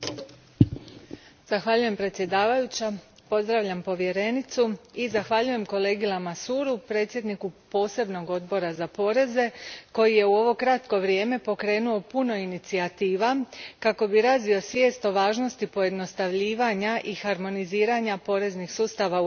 Zahvaljujem predsjedavajućem, pozdravljam povjerenicu i zahvaljujem kolegi Lamassoureu, predsjedniku Posebnog odbora za poreze, koji je u ovo kratko vrijeme pokrenuo puno inicijativa kako bi razvio svijest o važnosti pojednostavljivanja i harmoniziranja poreznih sustava u Europskoj uniji.